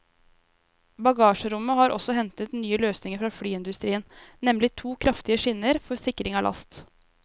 Bagasjerommet har også hentet nye løsninger fra flyindustrien, nemlig to kraftige skinner for sikring av last.